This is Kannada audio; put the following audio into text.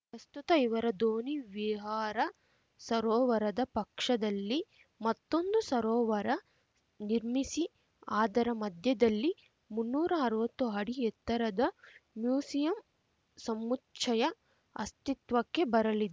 ಪ್ರಸ್ತುತ ಇವರ ದೋಣಿ ವಿಹಾರ ಸರೋವರದ ಪಕ್ಷದಲ್ಲಿ ಮತ್ತೊಂದು ಸರೋವರ ನಿರ್ಮಿಸಿ ಅದರ ಮಧ್ಯದಲ್ಲಿ ಮುನ್ನೂರಾ ಅರ್ವತ್ತು ಅಡಿ ಎತ್ತರದ ಮ್ಯೂಸಿಯಂ ಸಮುಚ್ಚಯ ಅಸ್ತಿತ್ವಕ್ಕೆ ಬರಲಿ